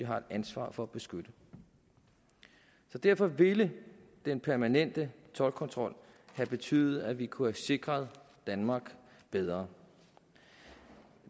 har et ansvar for at beskytte så derfor ville den permanente toldkontrol have betydet at vi kunne have sikret danmark bedre